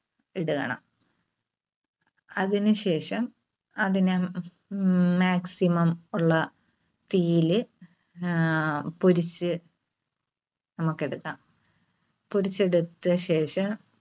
ഇടണം. അതിന് ശേഷം അതിന് ഉം maximum ഉള്ള തീയില് ആഹ് പൊരിച്ച് നമുക്ക് എടുക്കാം. പൊരിച്ചെടുത്ത ശേഷം